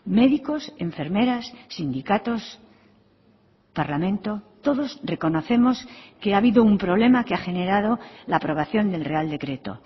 médicos enfermeras sindicatos parlamento todos reconocemos que ha habido un problema que ha generado la aprobación del real decreto